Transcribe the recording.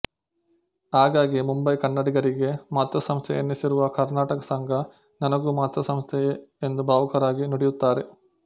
ಹಾಗಾಗಿ ಮುಂಬಯಿಕನ್ನಡಿಗರಿಗೆ ಮಾತೃ ಸಂಸ್ಥೆ ಎನ್ನಿಸಿರುವ ಕರ್ನಾಟಕ ಸಂಘ ನನಗೂ ಮಾತೃ ಸಂಸ್ಥೆಯೇ ಎಂದು ಭಾವುಕರಾಗಿ ನುಡಿಯುತ್ತಾರೆ